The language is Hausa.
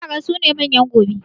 Yara su ne manyan gobe